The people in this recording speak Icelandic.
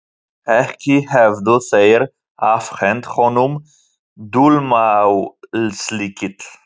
Ekki hefðu þeir afhent honum dulmálslykil.